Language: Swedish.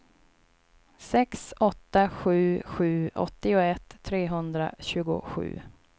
sex åtta sju sju åttioett trehundratjugosju